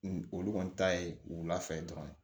Olu kɔni ta ye wula fɛ dɔrɔn